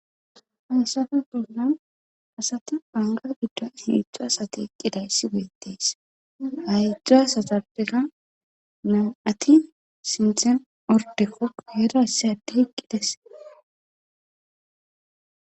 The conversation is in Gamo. Hayssafe bollan asati bangga giddoni heedzdzu asati eqqidayssi beettees ha heedzdzu asatappeka nam7ati sinthan orddeko guyera issi addey eqqiday des.